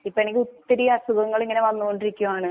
ഇപ്പാണെങ്കിൽ ഒത്തിരി അസുഖങ്ങള് ഇങ്ങനെ വന്നോണ്ടിരിക്കുവാണ്.